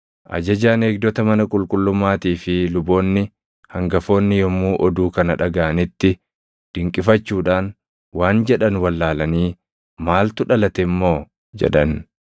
Ajajaan eegdota mana qulqullummaatii fi luboonni hangafoonni yommuu oduu kana dhagaʼanitti dinqifachuudhaan waan jedhan wallaalanii, “Maaltu dhalate immoo?” jedhan.